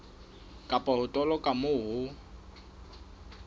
kapa ho toloka moo ho